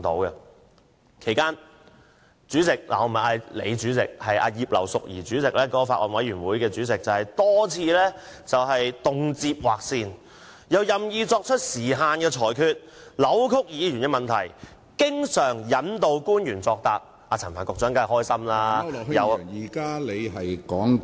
在此期間，主席——我不是指大主席你，而是指法案委員會主席葉劉淑儀議員——多次劃線，又任意作出時限裁決，扭曲議員問題，經常引導官員作答，陳帆局長當然很高興......